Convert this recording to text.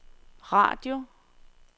radio